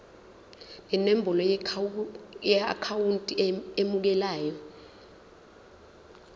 nenombolo yeakhawunti emukelayo